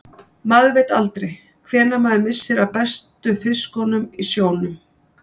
Maður veit aldrei hvenær maður missir af bestu fiskunum í sjónum.